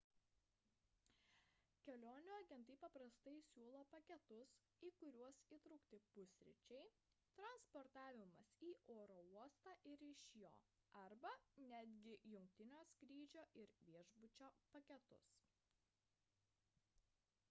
kelionių agentai paprastai siūlo paketus į kuriuos įtraukti pusryčiai transportavimas į oro uostą ir iš jo arba netgi jungtinio skrydžio ir viešbučio paketus